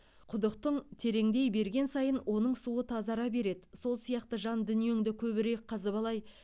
құдықтың тереңдей берген сайын оның суы тазара береді сол сияқты жан дүниеңді көбірек қазбалай